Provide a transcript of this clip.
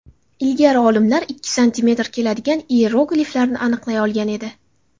Ilgari olimlar ikki santimetr keladigan iyerogliflarni aniqlay olgan edi.